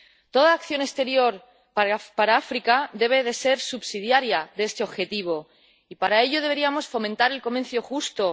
Toda acción exterior para África debe ser subsidiaria de este objetivo, y para ello deberíamos fomentar el comercio justo